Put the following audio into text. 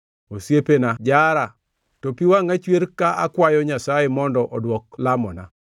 Osiepena jara to pi wangʼa chwer ka akwayo Nyasaye mondo odwok lamona;